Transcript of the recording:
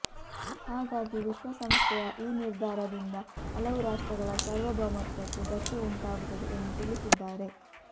ಹಾಗಾಗಿ ವಿಶ್ವ ಸಂಸ್ಥೆಯ ಈ ನಿರ್ಧಾರದಿಂದ ಹಲವು ರಾಷ್ಟ್ರಗಳ ಸಾರ್ವಭೌಮತ್ವಕ್ಕೆ ಧಕ್ಕೆ ಉಂಟಾಗುತ್ತದೆ ಎಂದು ತಿಳಿಸಿದ್ದಾರೆ